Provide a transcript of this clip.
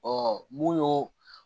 mun y'o